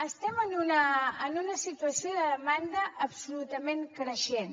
estem en una situació de demanda absolutament creixent